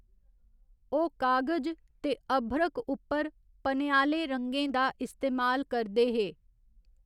ओह् कागज ते अभ्रक उप्पर पनेआले रंगें दा इस्तेमाल करदे हे।